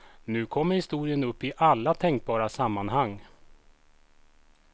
Nu kommer historien upp i alla tänkbara sammanhang.